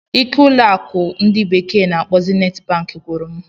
ike ụlọ akụ ndi bekee na-akpo Zenit Bank gwụrụ m.